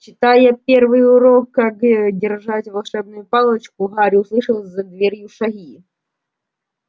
читая первый урок как держать волшебную палочку гарри услыхал за дверью шаги